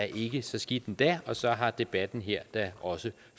ikke så skidt endda og så har debatten her da også